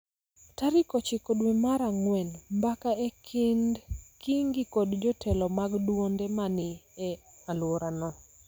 Tarik ochiko dwe mar ang�wen, mbaka e kind Kingi kod jotelo mag duonde ma ni e alworano